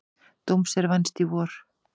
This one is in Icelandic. Dóms er vænst í vor.